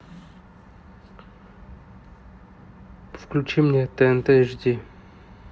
включи мне тнт эйч ди